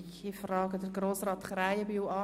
Ich frage Herrn Krähenbühl an: